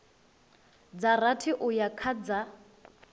dza rathi uya kha dza